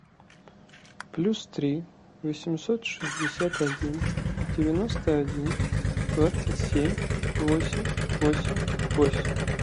плюс три восемьсот шестьдесят один девяносто один двадцать семь восемь восемь восемь